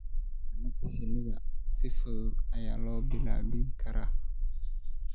Xannaanada shinnida si fudud ayaa loo bilaabi karaa.